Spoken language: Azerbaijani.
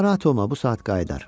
Narahat olma bu saat qayıdır.